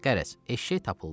Qərəz, eşşək tapıldı.